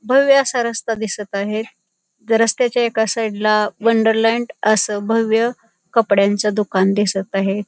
भव्य असा रस्ता दिसत आहे रस्त्याच्या एका साइड ला वंडरलँड अस भव्य कपड्यांच दुकान दिसत आहे.